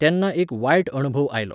तेन्ना एक वायट अणभव आयलो.